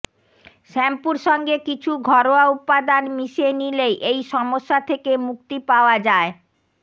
শ্যাম্পুর সঙ্গে কিছু ঘরোয়া উপাদান মিশিয়ে নিলেই এই সমস্যা থেকে মুক্তি পাওয়া যায়